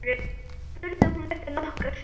spurði hún eftir nokkra stund.